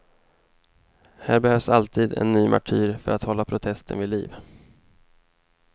Här behövs alltid en ny martyr för att hålla protesten vid liv.